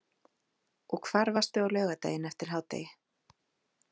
Og hvar varstu á laugardaginn eftir hádegi?